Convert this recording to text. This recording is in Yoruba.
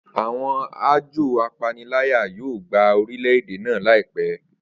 Awọn ajọ apanilaya yoo gba orilẹ-ede naa laipẹ